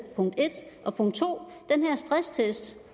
og punkt to den her stresstest